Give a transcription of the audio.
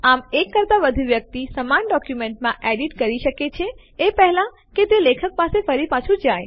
આમ એક કરતા વધુ વ્યક્તિ સમાન ડોક્યુમેન્ટમાં એડીટ કરી શકે છે એ પહેલા કે તે લેખક પાસે ફરી પાછું જાય